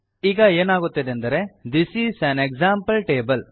ಈಗ ಏನಾಗುತ್ತದೆಂದರೆ this is an example table